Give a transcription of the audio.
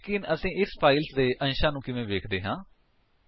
ਲੇਕਿਨ ਅਸੀ ਇਸ ਫਾਇਲ ਦੇ ਕੰਟੇਂਟਸ ਨੂੰ ਕਿਵੇਂ ਦੇਖਦੇ ਹਾਂ